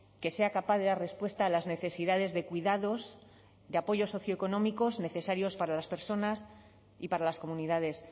que sea capaz de dar respuesta a las necesidades de cuidados de apoyos socioeconómicos necesarios para las personas y para las comunidades